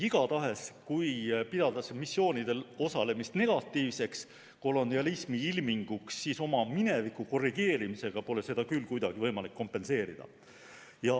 Igatahes, kui pidada missioonidel osalemist negatiivseks kolonialismi ilminguks, siis oma mineviku korrigeerimisega pole seda küll kuidagi võimalik kompenseerida.